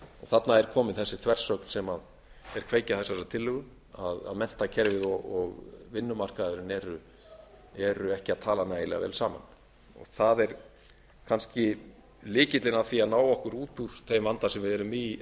þarna er komin þessi þversögn sem er kveikja þessarar tillögu að menntakerfið og vinnumarkaðurinn eru ekki að tala nægilega vel saman það er kannski lykillinn að því að ná okkur út úr þeim vanda sem við erum í